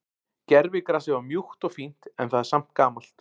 Gervigrasið var mjúkt og fínt en það er samt gamalt.